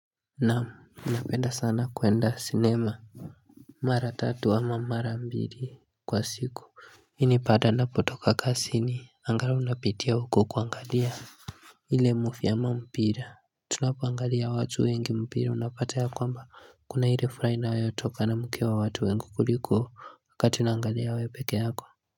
Naam napenda sana kuenda cinema mara tatu ama mara mbili kwa siku. Hii ni paada napotoka kasini angalau napitia huko kuangalia ile mufi ama mpira. Tunapoangalia watu wengi mpira unapata ya kwamba kuna ile furaha inayotokana mkiwa watu wengi kuliko wakati unaangalia we pekee yako.